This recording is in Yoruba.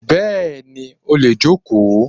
Bẹ́ẹ̀ni, ó lè jókòó.